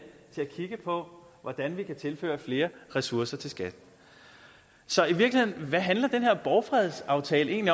til at kigge på hvordan vi kan tilføre flere ressourcer til skat så hvad handler den her borgfredsaftale i